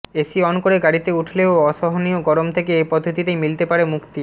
AC on করে গাড়িতে উঠলেও অসহনীয় গরম থেকে এ পদ্ধতিতেই মিলতে পারে মুক্তি